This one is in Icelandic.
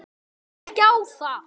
Trúi ekki á það.